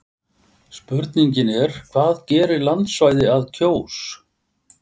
Spurningin er hvað gerir landsvæði að Kjós?